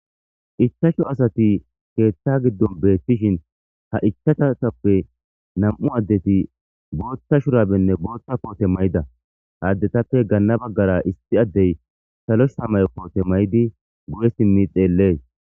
ichashu asati keeththa giddon beethtishin ha ichatatappe nam7u addeti bootta shurabenne bootta koote may7ida adde tappe ganna baggara issi addey saloshsa may koote may7di guye simmi xeellees